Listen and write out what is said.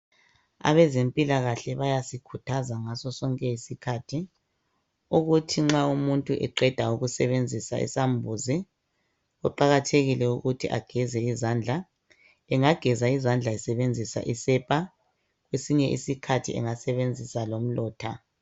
Abazemphilakahle bayasikuthaza ngaso sonke isikhathi, ukuthi nxa umuntu eqeda ukusebenzisa isambuzi, kuqakathekile ukuthi ageze izandla. Engageza izandla esebenzisa isepha, kwesinye isikhathi angasebenzisa umlotha.